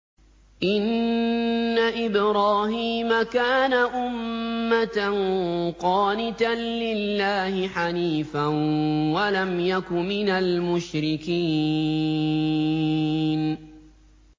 إِنَّ إِبْرَاهِيمَ كَانَ أُمَّةً قَانِتًا لِّلَّهِ حَنِيفًا وَلَمْ يَكُ مِنَ الْمُشْرِكِينَ